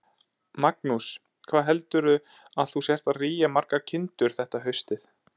Magnús: Hvað heldurðu að þú sért að rýja margar kindur þetta haustið?